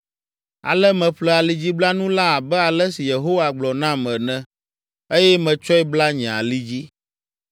Ale meƒle alidziblanu la abe ale si Yehowa gblɔ nam ene, eye metsɔe bla nye ali dzi.